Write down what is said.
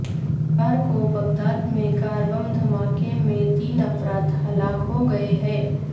اتوار کو بغداد میں کار بم دھماکے میں تین افراد ہلاک ہوگئے ہیں